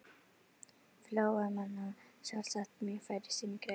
Flóamanna, sjálfsagt mjög fær í sinni grein.